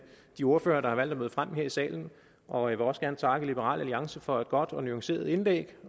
de ordførere der har valgt at møde frem her i salen og jeg vil også gerne takke liberal alliance for et godt og nuanceret indlæg